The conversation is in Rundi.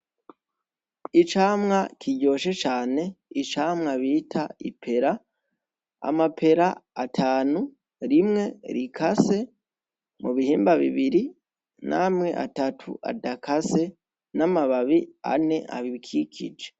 Icamwa kiryoshe cane icamwa bita ipera, Amapera atanu, rimwe rikase mubihimba bibiri namwe Atatu adakase n' amababi ane abikikije.